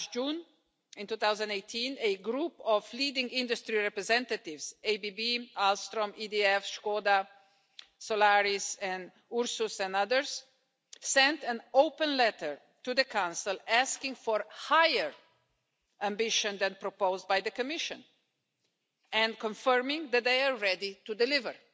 Last June, in 2018, a group of leading industry representatives, ABB, ALSTOM, EDF, Skoda, Solaris, Ursus and others, sent an open letter to the Council asking for higher ambition than that proposed by the Commission, and confirming that they are ready to deliver.